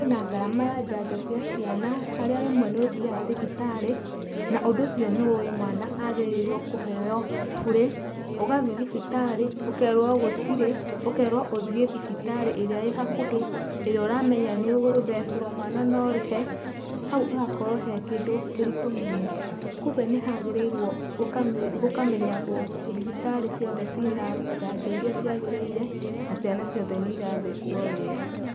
Kwĩna ngarama ya njanjo cia ciana harĩa rĩmwe nĩ ũthiaga thibitarĩ, na ũndũ ũcio nĩ ũĩ mwana agĩrĩirwo kũheo bure, ugathiĩ thibitarĩ ũkerwo gũtirĩ ũkerwo uthiĩ thibitarĩ ĩrĩa ĩ hakuhĩ ĩrĩa ũramenya nĩ ũgũthecerwo mwana na ũrĩhe, hau hagakorwo e kĩndũ kĩritũ mũno. Kuũgwo nĩ hagĩrĩirwo gũkamenyagwo thibitarĩ ciothe ciĩ na njanjo iria ciagĩrĩire na ciana ciothe nĩ irathecwo wega.